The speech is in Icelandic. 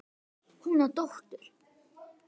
Hún á dóttur.